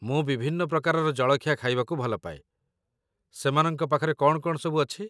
ମୁଁ ବିଭିନ୍ନ ପ୍ରକାରର ଜଳଖିଆ ଖାଇବାକୁ ଭଲ ପାଏ, ସେମାନଙ୍କ ପାଖରେ କ'ଣ କ'ଣ ସବୁ ଅଛି?